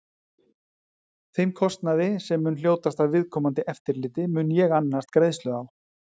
Þeim kostnaði, sem mun hljótast af viðkomandi eftirliti, mun ég annast greiðslu á.